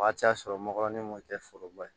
O waati y'a sɔrɔ ngɔyɔin ma kɛ foroba ye